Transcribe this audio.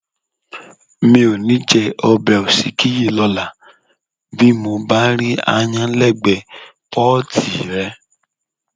Mi ò ní jẹ ọbẹ̀ òsíkí yìí lọ́la bí mo bá rí aáyán lẹ́gbẹ́ẹ̀gbẹ́ pọ́ọ̀tì rẹ̀.